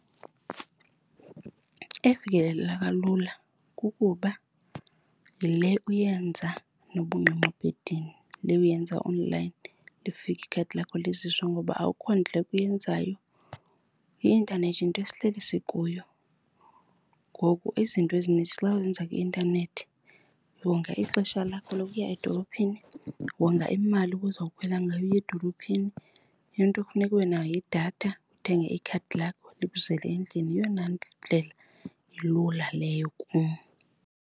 Efikeleleka lula kukuba yile uyenza noba ungqengqe ebhedini, le uyenza onlayini lifike ikhadi lakho liziswe, ngoba akukho ndleko uyenzayo. I-intanethi yinto esihleli sikuyo ngoku, izinto ezininzi xa uzenza kwi-intanethi wonga ixesha lakho lokuya edolophini, wonga imali ubozawukhwela ngayo uya edolophini. Into ekufuneka ube nayo yidatha, uthenge ikhadi lakho likuzele endlini. Yeyona ndlela ilula leyo kum.